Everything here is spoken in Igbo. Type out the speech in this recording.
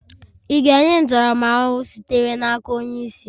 Ị ga-enye ntaramahụhụ sitere n'aka onye isi